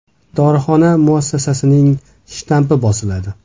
Dorixona muassasasining shtampi bosiladi.